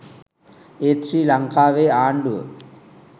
ඒත් ශ්‍රී ලංකාවේ ආණ්ඩුව